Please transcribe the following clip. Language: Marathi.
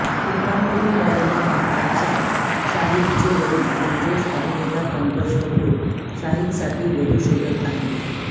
सुत्रांकडून मिळालेल्या माहितीनुसार शाहीदचे वडील म्हणजेच अभिनेता पंकज कपूर शाहीदसाठी वधू शोधत आहेत